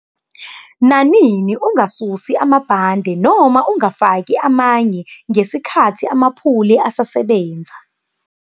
Nanini ungasusi amabhande nama ungafaki amanye ngesikhathi amaphuli asasebenza.